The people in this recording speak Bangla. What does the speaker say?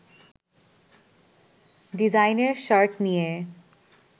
ডিজাইনের শার্ট নিয়ে